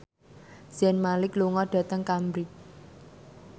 Zayn Malik lunga dhateng Cambridge